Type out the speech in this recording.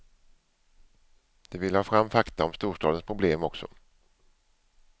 De ville ha fram fakta om storstadens problem också.